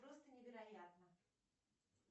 просто невероятно